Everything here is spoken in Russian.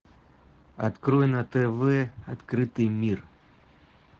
открой на тв открытый мир